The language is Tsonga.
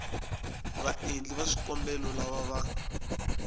vaendli va swikombelo lava va